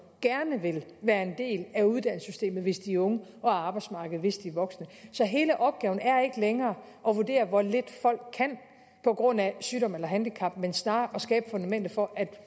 gerne vil være en del af uddannelsessystemet hvis de er unge og af arbejdsmarkedet hvis de er voksne så hele opgaven er ikke længere at vurdere hvor lidt folk kan på grund af sygdom eller handicap men snarere at skabe fundamentet for at